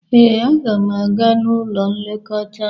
Ee, m ga-aga n'ụlọ nlekọta.